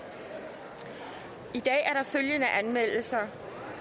i dag er der følgende anmeldelser